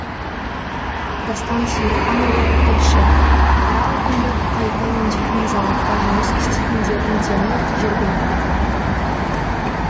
дастан сейілханұлы тілші қара алтынды қайта өңдейтін зауытта жұмыс істейтіндердің дені жергілікті тұрғындар